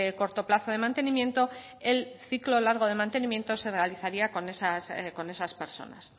corto plazo de mantenimiento el ciclo largo de mantenimiento se realizaría con esas personas